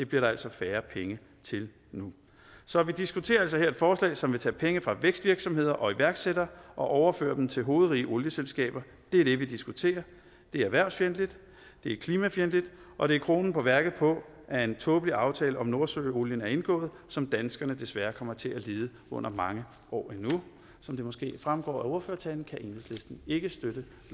bliver der altså færre penge til nu så vi diskuterer altså her et forslag som vil tage penge fra vækstvirksomheder og iværksættere og overføre dem til hovedrige olieselskaber det er det vi diskuterer det er erhvervsfjendtligt det er klimafjendtligt og det er kronen på værket på at en tåbelig aftale om nordsøolien er indgået som danskerne desværre kommer til at lide under mange år endnu som det måske fremgår af ordførertalen kan enhedslisten ikke støtte